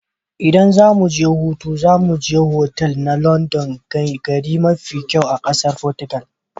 ldan zamu je hutu, za mu je otal na kwandon ganye mafi kyau a kasan Portugal.